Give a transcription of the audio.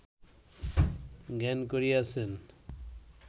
জ্ঞান করিয়াছেন